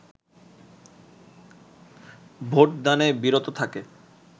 vote দানে বিরত থাকে